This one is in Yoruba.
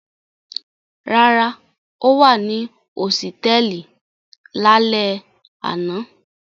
Rárá, ó wà ní hósítẹ́ẹ́lì lálẹ́ àná.